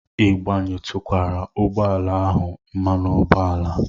Ị gbayetukwara ụgbọ ala ahụ mmanụ ụgbọala?